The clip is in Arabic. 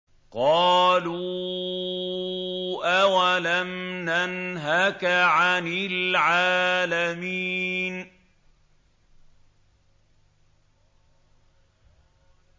قَالُوا أَوَلَمْ نَنْهَكَ عَنِ الْعَالَمِينَ